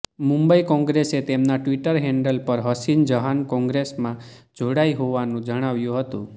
મુંબઈ કોંગ્રેસે તેમના Twitter handle પર હસીન જહાન કોંગ્રેસમાં જોડાઈ હોવાનું જણાવ્યું હતું